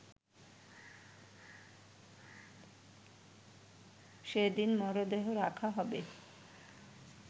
সেদিন মরদেহ রাখা হবে